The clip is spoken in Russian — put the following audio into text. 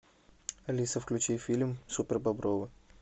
алиса включи фильм супербобровы